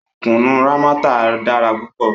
Kùnú Rámọ́tà dára púpọ̀